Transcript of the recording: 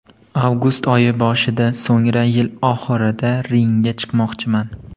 Avgust oyi boshida, so‘ngra yil oxirida ringga chiqmoqchiman.